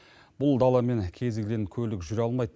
бұл даламен кез келген көлік жүре алмайды